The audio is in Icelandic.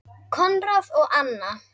Konráð og Anna.